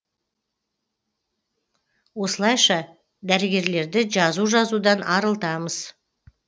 осылайша дәрігерлерді жазу жазудан арылтамыз